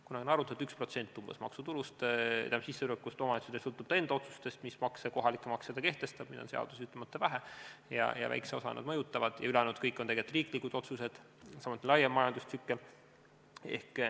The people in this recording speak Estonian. Kunagi siin arvutati, et umbes 1% maksutulust, st omavalitsuse sissetulekust sõltub ta enda otsustest, missuguseid kohalikke makse ta kehtestab, sest neid on seaduses ütlemata vähe ja väikest osa nad mõjutavad, ülejäänud on kõik tegelikult riiklikud otsused, samuti laiem majandustsükkel.